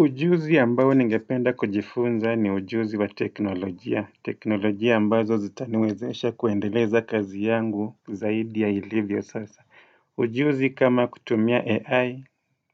Ujuzi ambao ningependa kujifunza ni ujuzi wa teknolojia. Teknolojia ambazo zitaniwezesha kuendeleza kazi yangu zaidi ya ilivyo sasa. Ujuzi kama kutumia AI